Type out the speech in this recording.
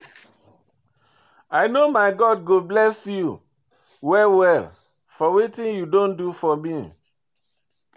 I know my God go bless you well well for wetin you don do for me.